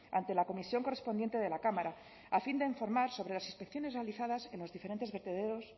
ante la comisión correspondiente de la cámara a fin de informar sobre las inspecciones realizadas en los diferentes vertederos